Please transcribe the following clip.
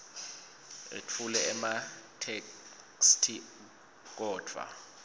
etfule ematheksthi kodvwa